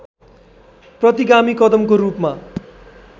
प्रतिगामी कदमको रूपमा